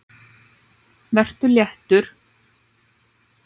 Vertu léttur.